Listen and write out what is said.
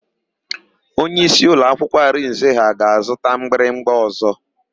Onyeisi ụlọakwụkwọ Arinze ha ga-azụta mgbịrịgba ọ̀zọ́.